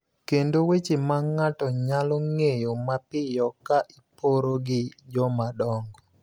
kendo weche ma ng�ato nyalo ng�eyo mapiyo ka iporo gi jomadongo,